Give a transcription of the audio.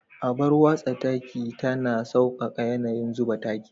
Abar watsa taki tana sauƙaƙa yanayin zuba taki.